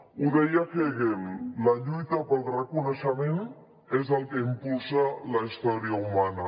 ho deia hegel la lluita pel reconeixement és el que impulsa la història humana